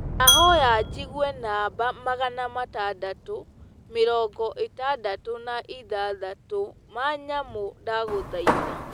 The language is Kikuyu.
ndahoya njĩgũe namba magana matandatu , mĩrongo ĩtandatũ na ĩthathatu ma nyamũ ndagũthaĩtha